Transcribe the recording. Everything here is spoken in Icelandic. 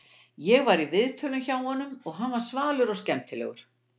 Ég var í viðtölum hjá honum og hann var svalur og skemmtilegur.